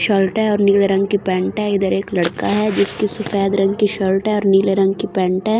Shirt है और नीले रंग की पैंट है इधर एक लड़का है जिसकी सफ़ेद रंग की शर्ट है और नीले रंग की पेंट है।